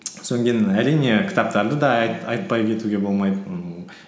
әрине кітаптарды да айтпай кетуге болмайды